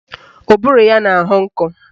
Ụbụrụ ya na-ahọ nkọ